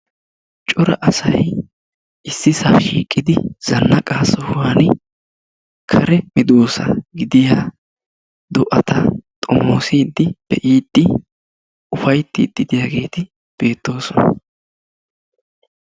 Cora asay issippe shiiqqidi zannaqaa sohuwaani kare meedosa gidiyaa do"ata xoomosiidi be'iidi ufayttiidi de'iyaageti beettoosona.